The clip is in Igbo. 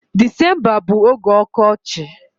Disemba bu oge ọkọchị.